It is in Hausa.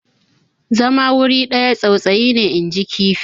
zama wuri ɗaya tsautsayi ne inji kifi